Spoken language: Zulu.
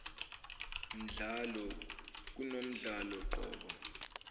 mdlalo kunomdlalo qobo